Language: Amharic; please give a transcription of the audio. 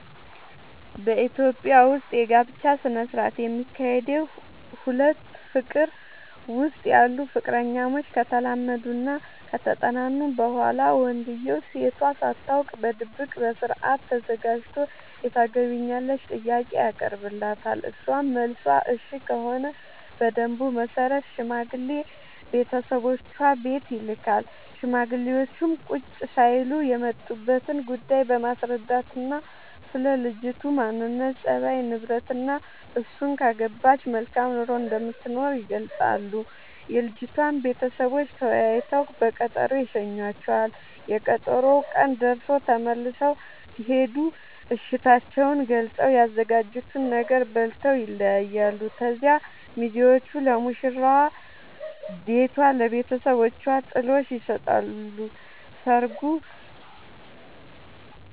በኢትዮጵያ ዉስጥ የጋብቻ ስነ ስርዓት የሚካሄደዉ ሁለት ፍቅር ዉስጥ ያሉ ፍቅረኛሞች ከተላመዱናከተጠናኑ በኋላ ወንድዬው ሴቷ ሳታውቅ በድብቅ በስርአት ተዘጋጅቶ የታገቢኛለሽ ጥያቄ ያቀርብላታል እሷም መልሷ እሽ ከሆነ በደንቡ መሰረት ሽማግሌ ቤተሰቦቿ ቤት ይልካል ሽማግሌዎቹም ቁጭ ሳይሉ የመጡበትን ጉዳይ በማስረዳትናስለ ልጅቱ ማንነት፣ ፀባይ፤ ንብረትናእሱን ካገባች መልካም ኑሮ እንደምትኖር ይገልጻሉ። የልጅቷም ቤተሰቦች ተወያይተው በቀጠሮ ይሸኙዋቸዋል፤ የቀጠሮው ቀን ደርሶ ተመልሰው ሲሄዱ እሽታቸውን ገልፀው፤ ያዘጋጁትን ነገር በልተው ይለያያሉ። ከዚያ ሚዜዎቹ ለሙሽራዋ ቤቷ ለብተሰቦቿ ጥሎሽ ይሰጣሉ